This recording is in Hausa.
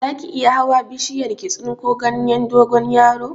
Zaki iya hawa bishiyar ki tsinko ganyen dogonyaro?